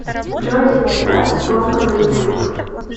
джой ленинград бомба на ютуб